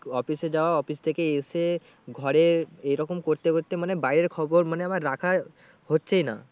Office এ যাওয়া office থেকে এসে ঘরে এরকম করতে করতে মানে বাইরের খবর মানে আমার রাখা হচ্ছেই না।